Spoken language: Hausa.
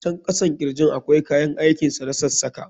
A can kasan kirjin akwai kayan aikin sa na sassaka.